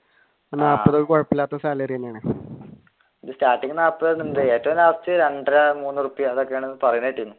starting രണ്ടര മൂന്ന് റുപ്യാ ആണെന്ന് പറയണ കേട്ടിരുന്നു.